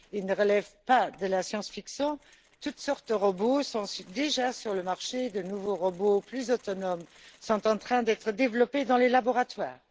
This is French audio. Ils ne relèvent pas de la science fiction toutes sortes de robots sont déjà sur le marché, de nouveaux robots plus autonomes sont en train d'être développés dans les laboratoires.